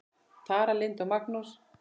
Tara Lynd og Magnús.